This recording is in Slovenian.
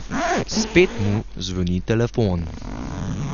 Spet mu zvoni telefon.